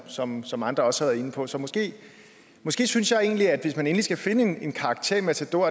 som som andre også har været inde på så måske måske synes jeg egentlig at hvis man endelig skal finde en karakter i matador